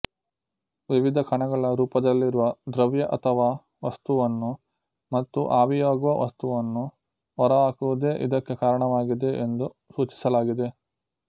ವಿವಿಧ ಕಣಗಳ ರೂಪದಲ್ಲಿರುವ ದ್ರವ್ಯ ಅಥವಾ ವಸ್ತುವನ್ನು ಮತ್ತು ಆವಿಯಾಗುವ ವಸ್ತುವನ್ನು ಹೊರಹಾಕುವುದೇ ಇದಕ್ಕೆ ಕಾರಣವಾಗಿದೆ ಎಂದು ಸೂಚಿಸಲಾಗಿದೆ